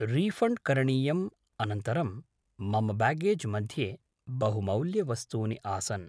refund करणीयम् अनन्तरं मम ब्याग्गेज् मध्ये बहुमौल्यवस्तूनि आसन्